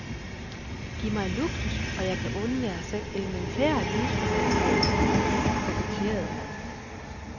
Giv mig luksus, og jeg kan undvære selv elementære livsfornødenheder, koketterede han.